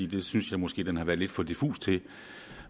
det synes jeg måske den har været lidt for diffus til